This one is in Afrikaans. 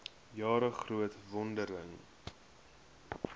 jare groot vordering